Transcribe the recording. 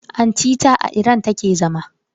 Anti ta a Iran take zama.